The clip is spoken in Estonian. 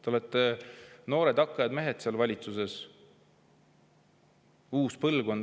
Te olete noored hakkajad mehed seal valitsuses, uus põlvkond.